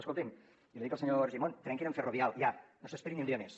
escoltin i li dic al senyor argimon trenquin amb ferrovial ja no s’esperi ni un dia més